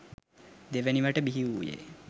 දෙවැනිවට බිහිවූයේ